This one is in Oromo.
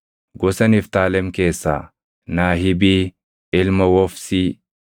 gosa Niftaalem keessaa Naahibii ilma Wofsii;